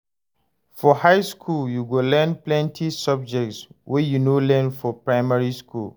For high skool, you go learn plenty subjects wey you no learn for primary skool.